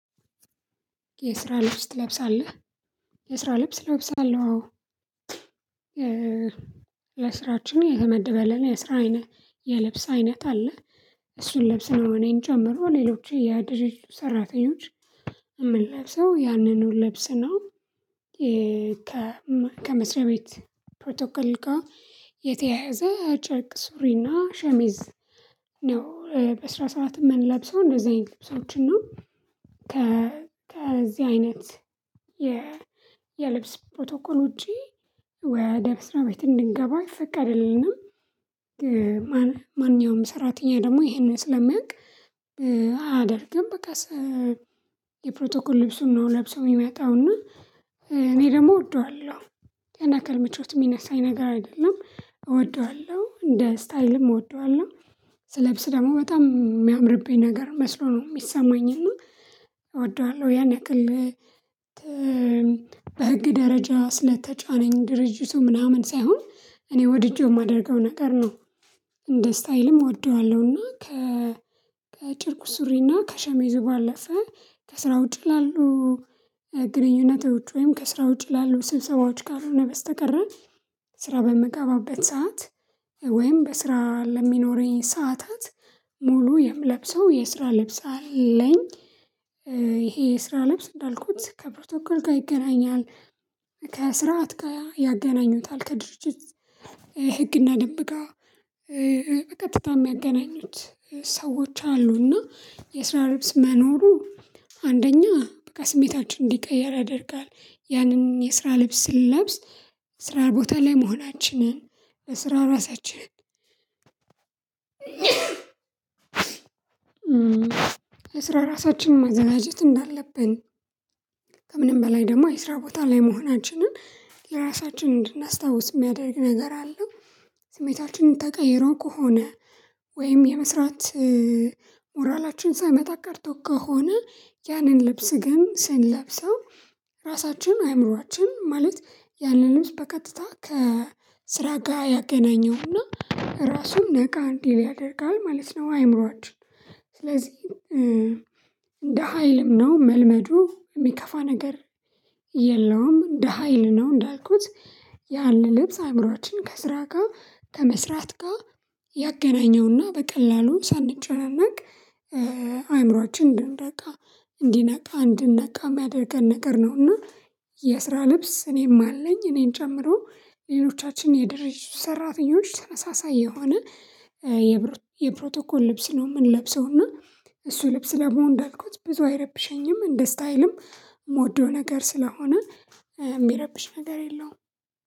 የስራ ልብስ ትለብሳለህ? የስራ ልብስ ለብሳለሁ አዎ ለስራችን የተመደበ አለ እና የስራ አይነት የልብስ አይነት አለ እሱን ልብስ ነው እኔን ጨምሮ ሌሎች የድርጅቱ ሰራተኞች የምንለብሰው ያንኑን ልብስ ነው። ከመስሪያ ቤት ፕሮቶኮል ጋር የተያያዘ ጨርቅ ሱሪና ሸሚዝ ነው በስራ ሰዓት የምንለብሰው እንደዚህ አይነት ልብሶችን ነው። ከዚህ አይነት የልብስ ፕሮቶኮል ውጪ ወደ መስሪያ ቤት እንድንገባ አይፈቀድልንም። ማን ማንኛውም ሰራተኛ ደግሞ ይሄንን ስለሚያውቅ አያደርግም። በቃ የፕሮቶኮል ልብሱን ነው ለብሰው የሚመጣውና እኔ ደግሞ እወደዋለሁ ያን ያክል ምቾት የሚነሳኝ ነገር አይደለም እወደዋለሁ እንደ ስታይልም እወደዋለሁ። ስለብስ ደግሞ በጣም የሚያምርብኝ ነገር መስሎ ነው የሚሰማኝ እና እወደዋለሁ ያን ያክል በህግ ደረጃ ስለተጫነኝ ድርጅቱ ምናምን ሳይሆን እኔ ወድጄው የማደርገው ነገር ነው። እንደ ስታይልም እወደዋለሁና ከ ከጨርቅ ሱሪና ከሸሜዙ ባለፈ ከስራ ውጪ ላሉ ግንኙነቶች ወይም ከስራ ውጪ ላሉ ስብሰባዎች ካልሆነ በስተቀረ ስራ በምገባበት ሰዓት ወይም በስራ ለሚኖረኝ ሰዓታት ሙሉ የምለብሰው የስራ ልብስ አለኝ። ይሄ የስራ ልብስ እንዳልኩት ከፕሮቶኮል ጋር ይገናኛል። ከስርዓት ጋር ያገናኙታል ከድርጅት ህግና ደንብ ጋር በቀጥታ የሚያገናኙት ሰዎች አሉና የስራ ልብስ መኖሩ። አንደኛ በቃ ስሜታችን እንዲቀየር ያደርጋል ያንን የስራ ልብስ ስንለብስ ስራ ቦታ ላይ መሆናችንን ለስራ ራሳችንን ለስራ ራሳችንን ማዘናጀት እንዳለብን ከምንም በላይ ደግሞ የስራ ቦታ ላይ መሆናችንን ለራሳችን እንድናስታውስ የሚያደርግ ነገር አለ። ስሜታችንን ተቀይሮ ከሆነ ወይም የመስራት ሞራላችን ሳይመጣ ቀርቶ ከሆነ ያንን ልብስ ግን ስንለብሰው ራሳችን አእምሮአችን ማለት ያለልብስ በቀጥታ ከስራ ጋር ያገናኘውና ራሱን ነቃ እንዲል ያደርጋል ማለት ነው። አእምሮአችን ስለዚህ እንደ ሀይልም ነው መልመዱ የሚከፋ ነገር የለውም። እንደ ሀይል ነው እንዳልኩት ያለ ልብስ አእምሮአችን ከስራ ጋር ከመስራት ጋር ያገናኘውና በቀላሉ ሳንጨነቅ አእምሮአችን እንድንነቃ እንዲነቃ እንድንነቃ የሚያደርገን ነገር ነውና። የስራ ልብስ እኔም አለኝ እኔን ጨምሮ ሌሎቻችን የድርጅቱ ሰራተኞች ተመሳሳይ የሆነ የፕሮቶኮል ልብስ ነው የምንለብሰው እና እሱ ልብስ ደግሞ እንዳልኳት ብዙ አይረብሸኝም እንደ ስታይልም ምወደው ነገር ስለሆነ የሚረብሽ ነገር የለውም።